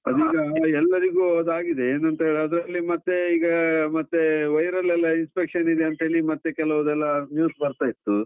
ಅದೀಗ ಎಲ್ಲರಿಗು ಅದಾಗಿದೆ, ಏನಂತ ಅದ್ರಲ್ಲಿ ಮತ್ತೆ ಈಗ ಮತ್ತೇ viral ಎಲ್ಲ infection ಇದೆ ಅಂತ ಹೇಳಿ ಮತ್ತೆ ಕೆಲವುದೆಲ್ಲ news ಬರ್ತಾ ಇತ್ತು.